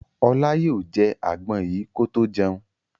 Ọlá yóò jẹ àgbọn yìí kó tó jẹun.